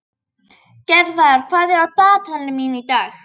Gerðar, hvað er í dagatalinu mínu í dag?